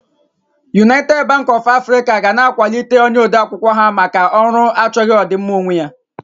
United Bank of Africa will be promoting her clerk for his selfless service